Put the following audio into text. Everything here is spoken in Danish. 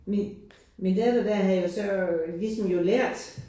Min min datter der havde jo så ligesom jo lært